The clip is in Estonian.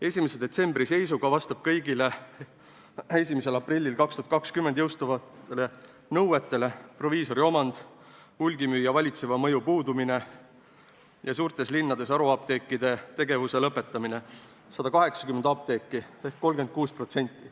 1. detsembri seisuga vastab kõigile 1. aprillil 2020 jõustuvatele nõuetele – proviisori omand, hulgimüüja valitseva mõju puudumine ja suurtes linnades haruapteekide tegevuse lõpetamine – 180 apteeki ehk 36%.